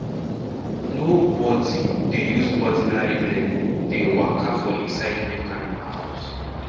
nobody dey use ordinary leg dey waka for inside milk animal house